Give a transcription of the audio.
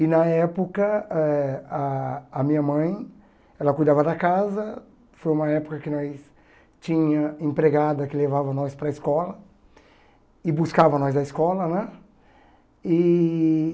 E na época eh ah a minha mãe ela cuidava da casa, foi uma época que nós tinha empregada que levava nós para a escola e buscava nós da escola né e.